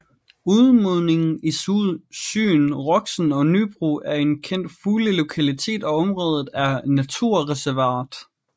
Udmundingen i søen Roxen ved Nybro er en kendt fuglelokalitet og området er naturreservat